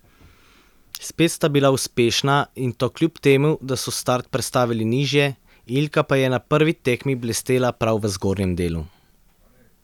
Spet sta bila uspešna in to kljub temu, da so start prestavili nižje, Ilka pa je na prvi tekmi blestela prav v zgornjem delu.